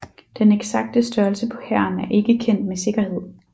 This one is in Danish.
Den eksakte størrelse på hæren er ikke kendt med sikkerhed